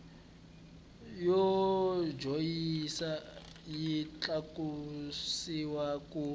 yo joyina yi tlakusiwa ku